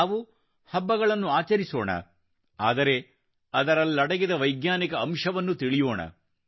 ನಾವು ಹಬ್ಬಗಳನ್ನು ಆಚರಿಸೋಣ ಆದರೆ ಅದರಲ್ಲಡಗಿದ ವೈಜ್ಞಾನಿಕ ಅಂಶವನ್ನು ತಿಳಿಯೋಣ